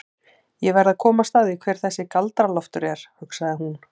Ég verð að komast að því hver þessi Galdra-Loftur er, hugsaði hún.